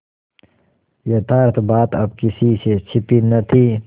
यथार्थ बात अब किसी से छिपी न थी